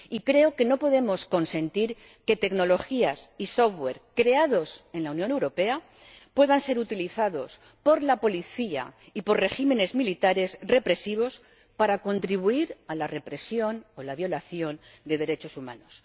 Y creo que no podemos consentir que tecnologías y software creados en la Unión Europea puedan ser utilizados por la policía y por regímenes militares represivos para contribuir a la represión o la violación de derechos humanos.